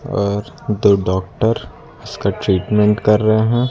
और दो डॉक्टर इसका ट्रीटमेंट कर रहे हैं।